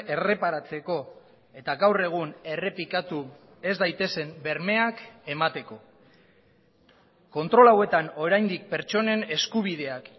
erreparatzeko eta gaur egun errepikatu ez daitezen bermeak emateko kontrol hauetan oraindik pertsonen eskubideak